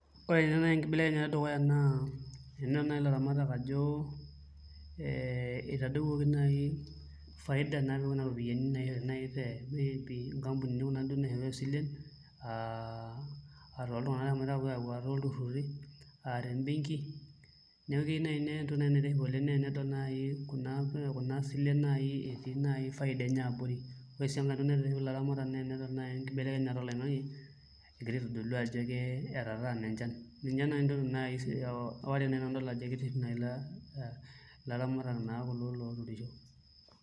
Ore naai enkibelekenyata edukuya naa tenedol naai ilaramatak ajo ee itadowuoki naai faida napiki kuna ropiyiani naishori naai te nkampunini kuna naishooyo isilen aa toltun'anak eshomo aayau aa tolturruri aa te mbenki neeku keyieu naai nedol kuna silen etii faidani enye abori, ore sii enkai toki naitiship ilaramatak naa enedol naai enkibelekenyata oloing'ang'e egira aitodolu ajo ketataana enchan, ninye naai ntokitin naai adol ajo kitiship naai ilaramatak naa kulo looturisho.